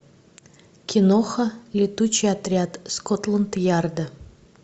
киноха летучий отряд скотланд ярда